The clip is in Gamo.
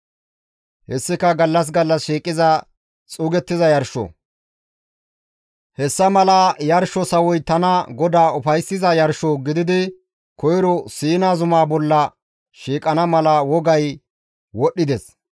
Hessika gallas gallas shiiqiza xuugettiza yarsho; hessa mala yarsho sawoy tana GODAA ufayssiza yarsho gididi koyro Siina zumaa bolla shiiqana mala wogay wodhdhides.